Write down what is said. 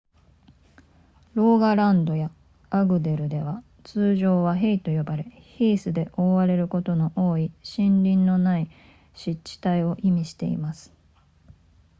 ローガランドやアグデルでは通常はヘイと呼ばれヒースで覆われることの多い森林のない湿地帯を意味しています